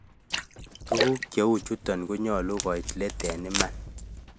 Tuguk che u choton konyolu koit let en iman,.